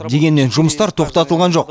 дегенмен жұмыстар тоқтатылған жоқ